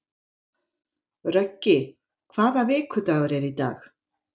Röggi, hvaða vikudagur er í dag?